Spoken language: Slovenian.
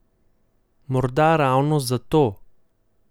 Morda ravno zato?